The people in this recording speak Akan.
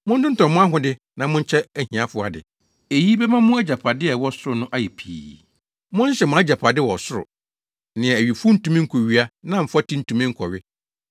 Montontɔn mo ahode na monkyɛ ahiafo ade. Eyi bɛma mo agyapade a ɛwɔ ɔsoro no ayɛ pii. Monhyehyɛ mo agyapade wɔ ɔsoro, nea owifo ntumi nkowia na mfɔte ntumi nkɔwe.